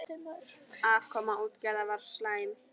Afkoma útgerða var slæm.